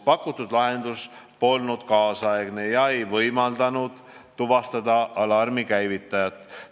Pakutud lahendus polnud nüüdisaegne ega võimaldanud tuvastada alarmi käivitajat.